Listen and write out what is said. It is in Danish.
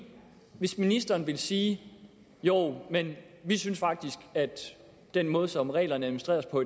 hvis ministeren ville sige jo vi synes faktisk at den måde som reglerne administreres på